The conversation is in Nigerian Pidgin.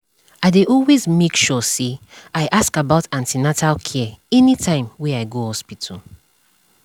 i dey always make sure say i ask about an ten atal care anytime wey i go hospital